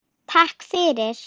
Takk fyrir